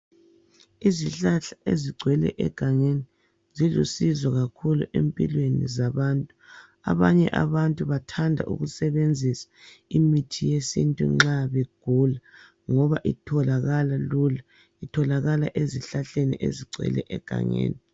Izihlahla ezigcwele egangeni zilusizo kakhulu empilweni zabantu. Abanye abantu bathanda ukusebenzisa imithi yesintu nxa begula ngoba itholakala lula. Itholakala ezihlahleni ezigcwele egangeni.